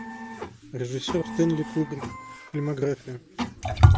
режиссер стэнли кубрик фильмография